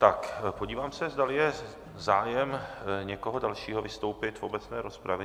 Tak, podívám se, zdali je zájem někoho dalšího vystoupit v obecné rozpravě.